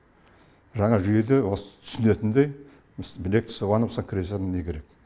жаңа жүйеде осы түсінетіндей білек сыбанып кірісетін не керек